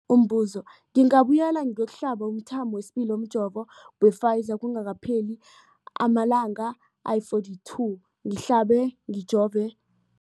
Umbuzo, ngingabuyela ngiyokuhlaba umthamo wesibili womjovo we-Pfizer kungakapheli ama-42 wamalanga ngihlabe, ngijove